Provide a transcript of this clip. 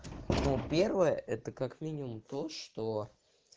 ну первое это как минимум то что